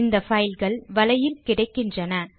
இந்த பைல்கள் வலையில் கிடைக்கின்றன